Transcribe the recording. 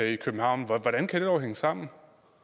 i københavn hvordan kan det dog hænge sammen